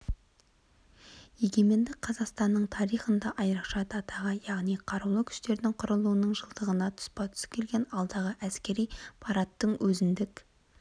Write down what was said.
егеменді қазақстанның тарихында айрықша датаға яғни қарулы күштердің құрылуының жылдығына тұспа-тұс келген алдағы әскери парадтың өзіндік